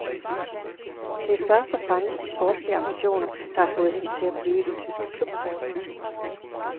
Det er først og fremmest de sportslige ambitioner, der har fået hende til at blive i den tyske klub.